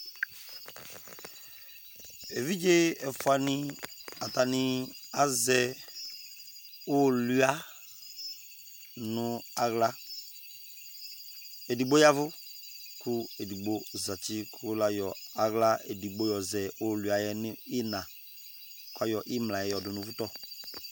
Evidze ɛfʋa nɩ ,atanɩ azɛ ʋʋlʋɩa nʋ aɣla ,edigbo yavʋ kʋ edigbo zati kʋ la yɔ aɣla edigbo yɔ zɛ ʋʋlʋɩa yɛ nɩɩna, kʋ ayɔ ɩmla yɛ yɔdʋ nʋvʋ tɔ